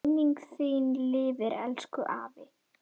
Minning þín lifir, elsku afi.